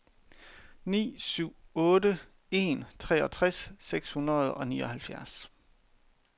ni syv otte en treogtres seks hundrede og nioghalvfjerds